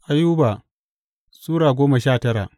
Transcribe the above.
Ayuba Sura goma sha tara